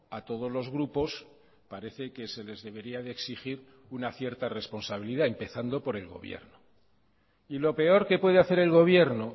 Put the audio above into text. a todos los grupos pareceque se les debería de exigir una cierta responsabilidad empezando por el gobierno y lo peor que puede hacer el gobierno